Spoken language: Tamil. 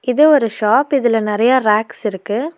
இது ஒரு ஷாப் இதுல நெறயா ரேக்ஸ் இருக்கு.